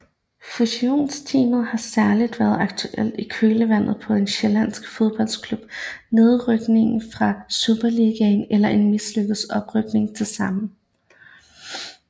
Fusionstemaet har særligt været aktuelt i kølvandet på en sjællandsk fodboldklubs nedrykning fra Superligaen eller en mislykket oprykning til samme